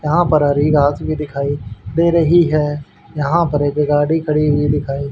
यहां पर हरी घास भी दिखाई दे रही है यहां पर एक गाड़ी खड़ी हुई दिखाई--